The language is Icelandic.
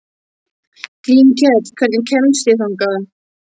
Grímkell, hvernig kemst ég þangað?